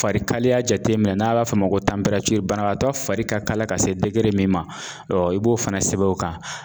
Farikaliya jateminɛ n'a b'a fɔ o ma ko banabagatɔ fari ka kala ka se min ma ɔ i b'o fana sɛbɛn o kan.